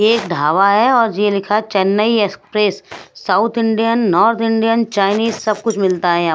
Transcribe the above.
एक ढाबा है और यह लिखा है Chennai express south Indian north Indian Chinese सब कुछ मिलता है यहाँ--